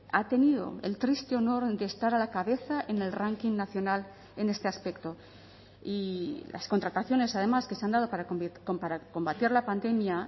ha tenido el triste honor de estar a la cabeza en el ranking nacional en este aspecto y las contrataciones además que se han dado para combatir la pandemia